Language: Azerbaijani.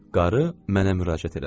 Qarı mənə müraciət elədi.